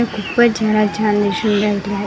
खूपच छान दिसून राहिला आहे.